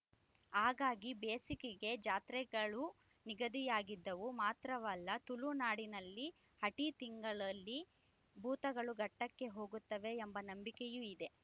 ಹಾಗಾಗಿ ಬೇಸಿಗೆಗೇ ಜಾತ್ರೆಗಳು ನಿಗದಿಯಾಗುತ್ತಿದ್ದವು ಮಾತ್ರವಲ್ಲ ತುಳು ನಾಡಿನಲ್ಲಿ ಆಟಿ ತಿಂಗಳಲ್ಲಿ ಭೂತಗಳು ಘಟ್ಟಕ್ಕೆ ಹೋಗುತ್ತವೆ ಎಂಬ ನಂಬಿಕೆಯೂ ಇದೆ